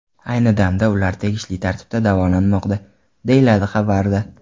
Ayni damda ular tegishli tartibda davolanmoqda”, deyiladi xabarda.